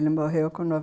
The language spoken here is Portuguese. Ele morreu com